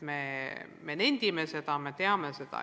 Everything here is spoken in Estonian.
Me nendime seda, me teame seda.